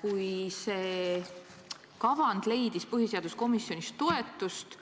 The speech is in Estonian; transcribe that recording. Kui see kavand leidis põhiseaduskomisjonis toetust